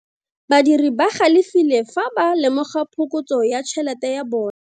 Badiri ba galefile fa ba lemoga phokotso ya tšhelete ya bone.